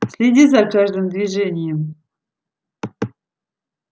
следи за каждым движением